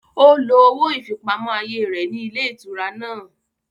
Ó lo owó ìfipamọ́ ayé rẹ̀ ní ilé ìtura náà.